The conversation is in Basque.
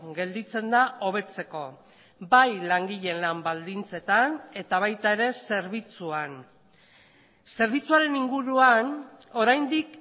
gelditzen da hobetzeko bai langileen lan baldintzetan eta baita ere zerbitzuan zerbitzuaren inguruan oraindik